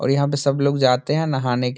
और यहाँ पे सब लोग जाते है नहाने के लि --